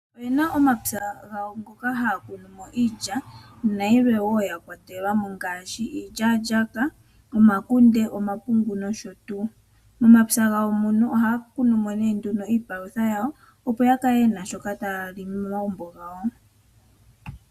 Opena omapya gawo ngoka ha ya kunumo iilya na yilwe wo ya kwatelwamo ngashi iilyalyaka, omakunde, omapungu noshotu. Momapya gawo mono ohaya kunumo ne nduno iipalutha yawo opo ya kale yena shoka taya li momagumbo gawo.